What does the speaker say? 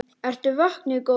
Ertu vöknuð góða?